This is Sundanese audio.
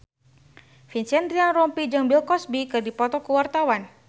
Vincent Ryan Rompies jeung Bill Cosby keur dipoto ku wartawan